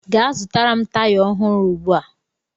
Gaa zụtara m taya ọhụrụ ugbu a!